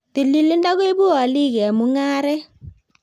Tililindo koibu olik eng mung'aret